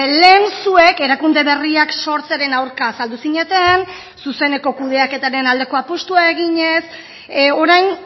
lehen zuek erakunde berriak sortzearen aurka azaldu zineten zuzeneko kudeaketaren aldeko apustua eginez orain